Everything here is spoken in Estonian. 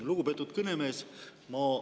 Lugupeetud kõnemees!